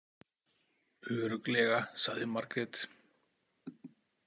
Örugglega, sagði Margrét.